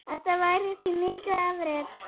Þetta væri því mikið afrek.